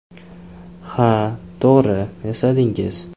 Ha, to‘g‘ri esladingiz.